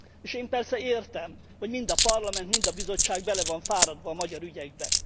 És én persze értem, hogy mind a Parlament, mind a Bizottság bele van fáradva a magyar ügyekbe.